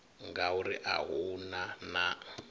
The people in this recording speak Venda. ngauri a hu na na